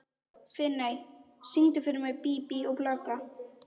Finney, syngdu fyrir mig „Bí bí og blaka“.